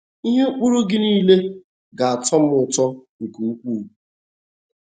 “ Ihe ụkpụrụ Gị nile ga - atọ m ụtọ nke ukwuu. ”